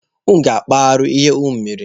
Unu ga-akpụ arụ ihe unu mere!